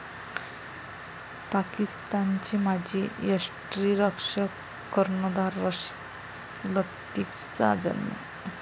पाकिस्तानचे माजी यष्टिरक्षक, कर्णधार रशीद लतिफचा जन्म.